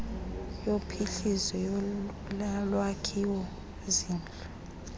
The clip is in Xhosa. yophuhliso yolwakhiwo zindlu